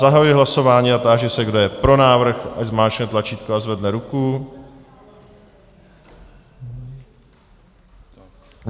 Zahajuji hlasování a táži se, kdo je pro návrh, ať zmáčkne tlačítko a zvedne ruku.